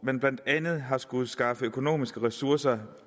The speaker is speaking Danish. man blandt andet har skullet skaffe økonomiske ressourcer